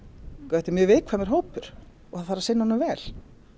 þetta er mjög viðkvæmur hópur og það þarf að sinna honum vel